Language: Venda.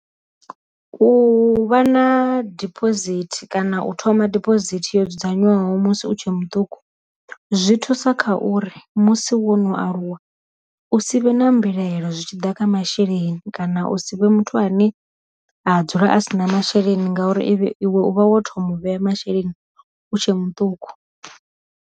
U vha na diphosithi kana u thoma diphosithi yo dzudzanywaho musi u tshe muṱuku zwi thusa kha uri musi wo no aluwa u si vhe na mbilaelo zwitshiḓa kha masheleni, kana u si vhe muthu ane a dzula a sina masheleni ngauri iwe u vha wo thoma u vhea masheleni u tshe muṱuku.